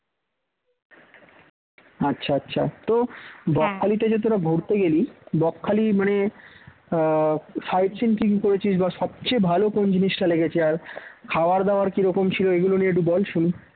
আচ্ছা আচ্ছা তো বকখালি তে যে তোরা ঘুরতে গেলি বকখালি মানে sight seeing কি কি করেছিস বা সবচেয়ে ভালো কোন জিনিসটা লেগেছে আর খাওয়াদাওয়ার কী রকম ছিল এগুলো নিয়ে বল শুনি